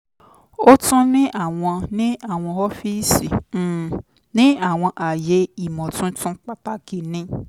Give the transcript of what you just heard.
o tun ni awọn ni awọn ọfiisi um ni awọn aaye imotuntun pataki ni